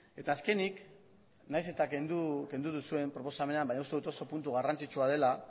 eta azkenik nahiz eta kendu duzuen proposamenean baina uste dut oso puntu garrantzitsua dela